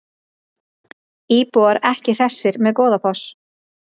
Íbúar ekki hressir með Goðafoss